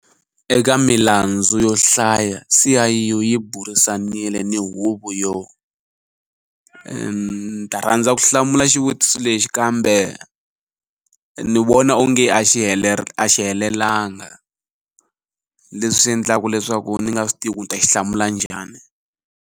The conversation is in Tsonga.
Eka milandzu yo hlaya SIU yi burisanile ni Huvo yo. Ndzi rhandza ku hlamula xivutiso lexi kambe ndzi vona onge a xi helelanga leswi endlaka leswaku ndzi nga swi tivi leswaku ndzi ta xi hlamula njhani.